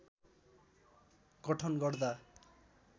गठन गर्दा